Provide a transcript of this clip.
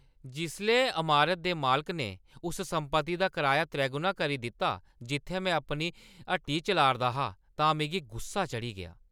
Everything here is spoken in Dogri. जिसलै अमारता दे मालकै ने उस संपत्ति दा कराया त्रैगुना करी दित्ता जित्थै में अपनी हट्टी चलाऽ 'रदा हा तां मिगी गुस्सा चढ़ी गेआ।